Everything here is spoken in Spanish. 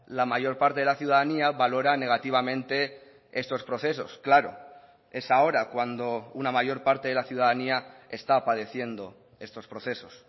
la mayor parte de la ciudadanía valora negativamente estos procesos claro es ahora cuando una mayor parte de la ciudadanía está padeciendo estos procesos